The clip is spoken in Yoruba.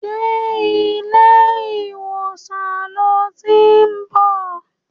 Ṣé ilé ìwòsàn lo tiń bọ̀?